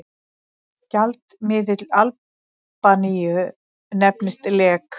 Gjaldmiðill Albaníu nefnist lek.